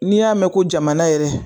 N'i y'a mɛn ko jamana yɛrɛ